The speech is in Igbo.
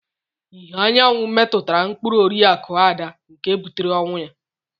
Ìhè anyanwụ metụtara mkpụrụ Oriakụ Ada nke butere ọnwụ ya.